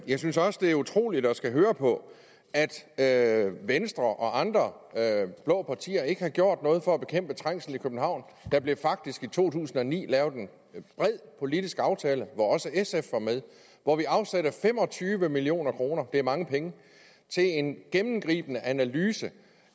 jeg synes også det er utroligt at skulle høre på at venstre og andre blå partier ikke har gjort noget for at bekæmpe trængslen i københavn der blev faktisk i to tusind og ni lavet en bred politisk aftale hvor også sf var med hvor vi afsatte fem og tyve million kroner det er mange penge til en gennemgribende analyse